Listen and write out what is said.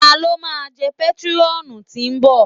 Ta ló máa jẹ pétrọ́ọ̀nù tí ń bọ̀?